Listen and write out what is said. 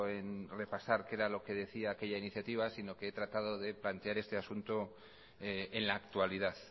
en repasar qué era lo que decía aquella iniciativa sino que he tratado de plantear este asunto en la actualidad